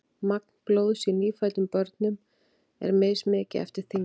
magn blóðs í nýfæddum börnum er mismikið eftir þyngd